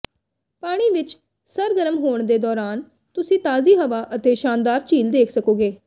ਪਾਣੀ ਵਿਚ ਸਰਗਰਮ ਹੋਣ ਦੇ ਦੌਰਾਨ ਤੁਸੀਂ ਤਾਜ਼ੀ ਹਵਾ ਅਤੇ ਸ਼ਾਨਦਾਰ ਝੀਲ ਦੇਖ ਸਕੋਗੇ